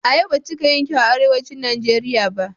Ayaba bata cika yin kyau a Arewacin Najeriya ba.